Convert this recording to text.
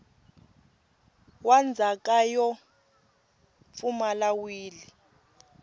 wa ndzhaka yo pfumala wili